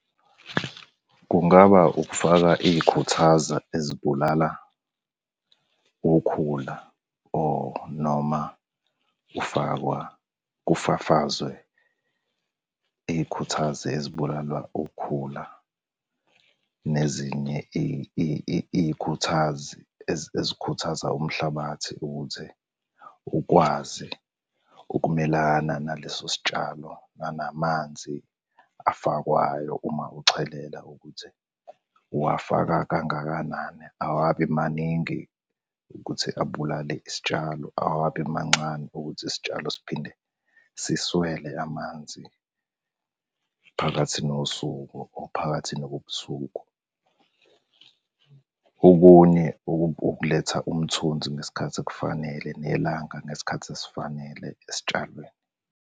Kungaba ukufaka iy'khuthaza ezibulala ukukhula or noma kufakwa kufafazwe iy'khuthazi ezibulala ukukhula. Nezinye iy'khuthazi ezikhuthaza umhlabathi ukuthi ukwazi ukumelana naleso sitshalo nanamanzi afakwayo uma uchelela ukuthi, uwafaka kangakanani, awabi maningi ukuthi abulale isitshalo, awabi mancane ukuthi isitshalo siphinde siswele amanzi phakathi nosuku or phakathi nobusuku. Okunye ukuletha umthunzi ngesikhathi esifanele, nelanga ngesikhathi esifanele esitshalweni.